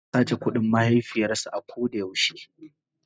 yana sace kudin mahaifiyars a kodayau she.